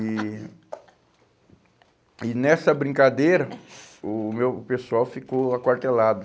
E... E nessa brincadeira, o meu o pessoal ficou aquartelado.